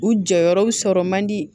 U jɔyɔrɔ bi sɔrɔ man di